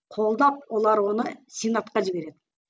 қолдап олар оны сенатқа жібереді